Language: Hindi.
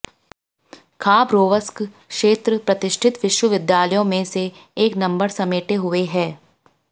खाबरोवस्क क्षेत्र प्रतिष्ठित विश्वविद्यालयों में से एक नंबर समेटे हुए है